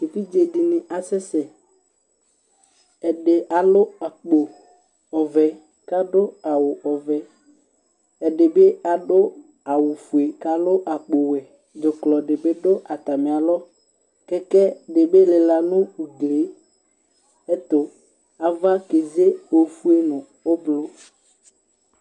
Evidze dɩnɩ asɛ sɛ Ɛdɩ alʋ akpo ɔvɛ kʋ adʋ awʋ ɔvɛ Ɛdɩ bɩ adʋ awʋfue kʋ alʋ akpowɛ Dzʋklɔ dɩ bɩ dʋ atamɩ alɔ Kɛkɛ dɩ bɩ lɩla nʋ ugli yɛ ɛtʋ Ava keze ofue nʋ ʋblʋ